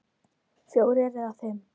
Fjórir eða fimm!